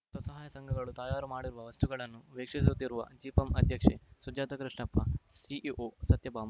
ಸ್ವಸಹಾಯ ಸಂಘಗಳು ತಯಾರು ಮಾಡಿರುವ ವಸ್ತುಗಳನ್ನು ವೀಕ್ಷಿಸುತ್ತಿರುವ ಜಿಪಂ ಅಧ್ಯಕ್ಷೆ ಸುಜಾತ ಕೃಷ್ಣಪ್ಪ ಸಿಇಓ ಸತ್ಯಭಾಮ